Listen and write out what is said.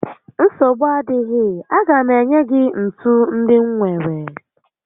Nsogbu adịghị, a ga m enye gị ntu ndị m nwèrè